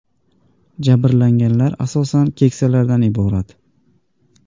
Jabrlanganlar asosan keksalardan iborat.